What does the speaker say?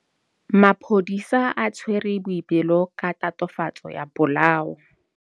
Maphodisa a tshwere Boipelo ka tatofatsô ya polaô.